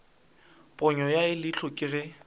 ponyo ya leihlo ke ge